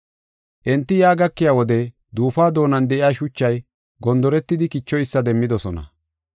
Enti yaa gakiya wode duufuwa doonan de7iya shuchay gonderetidi kichoysa demmidosona.